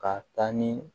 Ka taa ni